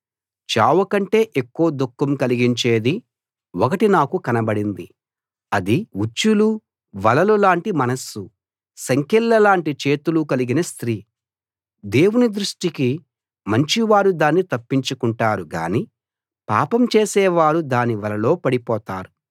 చావు కంటే ఎక్కువ దుఃఖం కలిగించేది ఒకటి నాకు కనబడింది అది ఉచ్చులు వలలు లాంటి మనస్సు సంకెళ్ళ లాంటి చేతులు కలిగిన స్త్రీ దేవుని దృష్టికి మంచివారు దాన్ని తప్పించుకుంటారు గాని పాపం చేసేవారు దాని వలలో పడిపోతారు